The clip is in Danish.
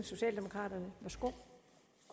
socialdemokraterne værsgo